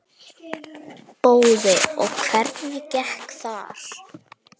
Boði: Og hvernig gekk þar?